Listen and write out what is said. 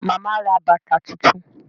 Màmá ra bàtà tuntun